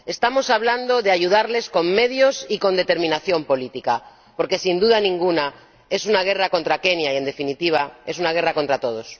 Estamos hablando de ayudarles con medios y con determinación política, porque, sin duda ninguna, es una guerra contra Kenia y, en definitiva, es una guerra contra todos.